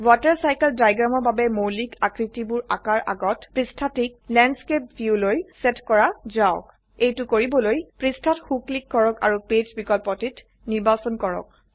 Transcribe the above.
water cycle diagramৰ বাবে মৌলিক আকৃতিবোৰ আঁকাৰ আগত পৃষ্ঠাটিক ল্যান্ডস্কেপ ভিউলৈ সেট কৰা যাওক এইটো কৰিবলৈ পৃষ্ঠাত সো ক্লিক কৰক আৰু পেজ বিকল্পটি নিৰ্বাচন কৰক